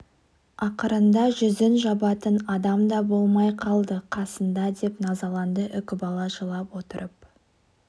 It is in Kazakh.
ақырында жүзін жабатын адам да болмай қалды қасында деп назаланды үкібала жылап отырып